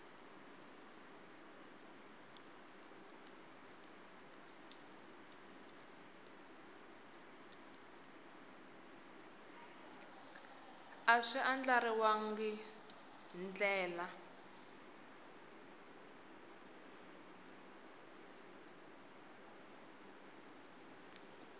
a swi andlariwangi hi ndlela